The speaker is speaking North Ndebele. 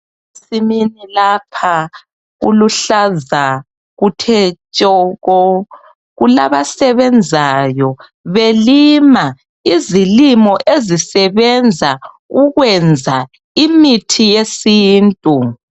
Ensimini lapha kuluhlaza kuthe tshoko ,kulabasebenzayo belima izilimo ezisebenza ukwenza imithi yesintu.